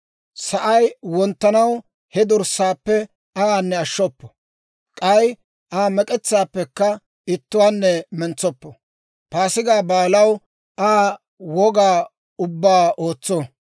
Sa'ay wonttanaw he dorssaappe ayaanne ashshoppo; k'ay Aa mek'etsaappekka ittuwaanne mentsoppo. Paasigaa Baalaw Aa woga ubbaa ootso.